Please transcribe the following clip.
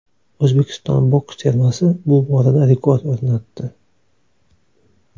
O‘zbekiston boks termasi bu borada rekord o‘rnatdi.